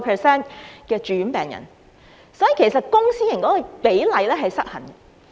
所以，問題其實是公私營系統的比例失衡。